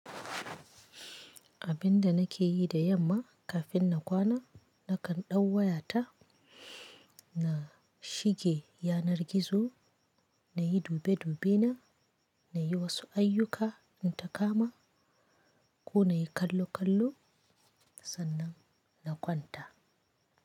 Abinda nake yi da yamma kafin na kwana, nakan ɗau wayata, na shige yanar gizo, na yi dube dubena, na yi wasu ayyuka in ta kama, ko na yi kallo kallo, sannan na kwanta.